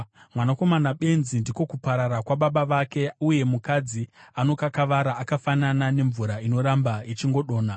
Mwanakomana benzi ndiko kuparara kwababa vake, uye mukadzi anokakavara akafanana nemvura inoramba ichingodonha.